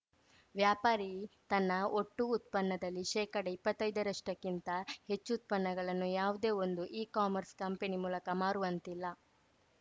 ವ್ಯಾಪಾರಿ ತನ್ನ ಒಟ್ಟು ಉತ್ಪನ್ನದಲ್ಲಿ ಶೇಕಡಇಪ್ಪತ್ತೈದರಷ್ಟಕ್ಕಿಂತ ಹೆಚ್ಚು ಉತ್ಪನ್ನಗಳನ್ನು ಯಾವುದೇ ಒಂದು ಇ ಕಾಮರ್ಸ್‌ ಕಂಪನಿ ಮೂಲಕ ಮಾರುವಂತಿಲ್ಲ